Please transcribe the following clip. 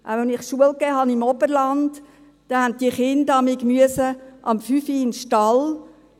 Als ich im Oberland unterrichtete, mussten diese Kinder jeweils um 5 Uhr in den Stall.